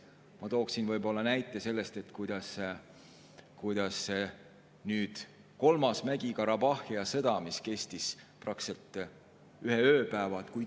Ma toon näiteks kolmanda Mägi-Karabahhi sõja, mis kestis praktiliselt ühe ööpäeva.